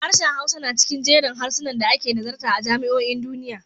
Harshen Hausa na cikin jerin harsunan da ake nazarta a jami'o'in duniya.